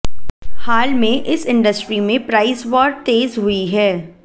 हाल में इस इंडस्ट्री में प्राइस वॉर तेज हुई है